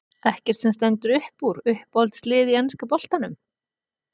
Ekkert sem stendur uppúr Uppáhalds lið í enska boltanum?